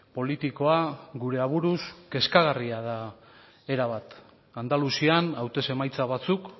politikoa gure aburuz kezkagarria da era bat andaluzian hautez emaitza batzuk